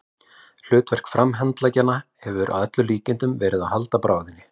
Hlutverk framhandleggjanna hefur að öllum líkindum verið að halda bráðinni.